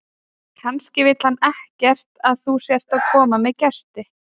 Kannski vill hann ekkert að þú sért að koma með gesti.